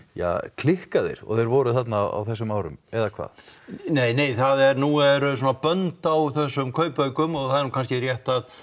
klikkaðir og þeir voru þarna á þessum árum eða hvað neinei það er nú eru svona bönd á þessum kaupaukum og það er kannski rétt að